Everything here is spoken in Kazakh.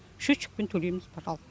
счетчикпен төлейміз пожалуйста